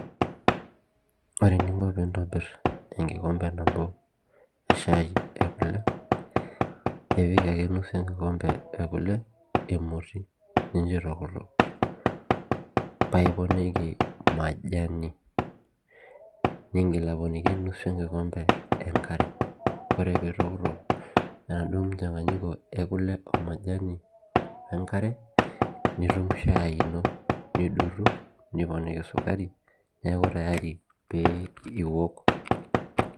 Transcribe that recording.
Ore eninko peintobir enkikompe nabo eshai ekule ipik ake nusu enkikompe ekule emoti nincho itokitok paiponiki majani ningil aponiki nusu enkikompe enkare ore pitokitok enaduo muchanganiko ekule omajani wenkare nitum shai ino nidotu neponiki sukari neaku tayari piwok